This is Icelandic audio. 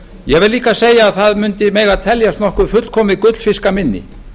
ég vil líka segja að það mundi mega teljast nokkuð fullkomið gullfiskaminni